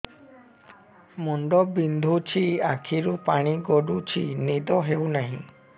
ମୁଣ୍ଡ ବିନ୍ଧୁଛି ଆଖିରୁ ପାଣି ଗଡୁଛି ନିଦ ହେଉନାହିଁ